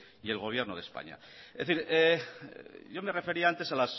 y el gobierno de españa es decir yo me refería antes